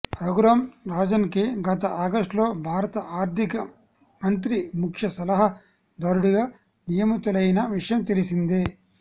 రఘురామ్ రాజన్ కి గత ఆగస్ట్ లో భారత ఆర్ధిక మంత్రి ముఖ్య సలహా దారుడిగా నియమితులైన విషయం తెలిసిందే